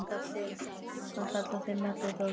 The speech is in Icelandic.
Hann kallar þig melludólg.